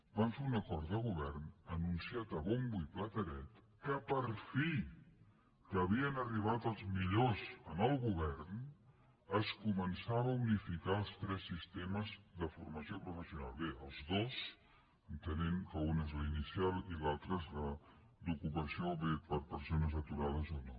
van fer un acord de govern anunciat a bombo i platerets que per fi que havien arribat els millors al govern es començava a unificar els tres sistemes de formació professional bé els dos entenent que un és l’inicial i l’altre és el d’ocupació bé per a persones aturades o no